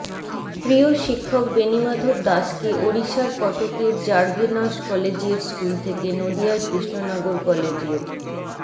প্রিয় শিক্ষক বেণীমাধব দাসকে ওড়িশার কটকের র্যাভেনশ কলেজিয়েট স্কুল থেকে নদিয়ার কৃষ্ণনগর কলেজিয়েট